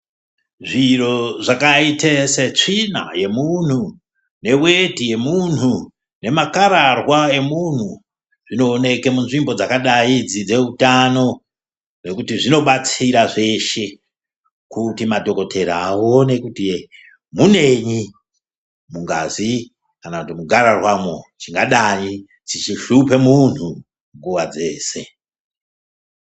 Zviro zvakaite setsvina yemunhu, neweti yemunhu nemakararwa emunhu, zvinooneke munzvimbo dzakadai idzi dzeutano nokuti zvinobatsira zveshe kuti madhokodhera aone kuti munei mungazi kana mugarararwamo chingadai chichishupa munhu nguva dzeshe.